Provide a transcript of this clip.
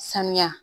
Sanuya